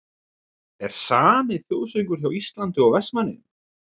Er SAMI þjóðsöngur hjá Íslandi og Vestmannaeyjum?